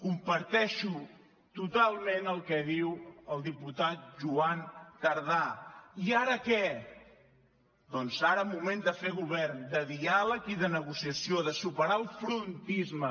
comparteixo totalment el que diu el diputat joan tardà i ara què doncs ara moment de fer govern de diàleg i de negociació de superar el frontisme